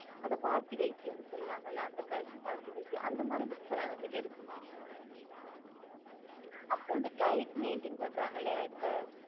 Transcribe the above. ஹம் ஹம்